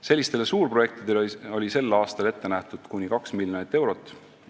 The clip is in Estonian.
Sellistele suurprojektidele oli sel aastal ette nähtud kuni 2 miljonit eurot.